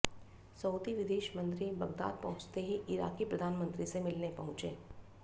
Saudi विदेश मंत्री Baghdad पहुंचते ही इराक़ी प्रधान मंत्री से मिलने पहुंचे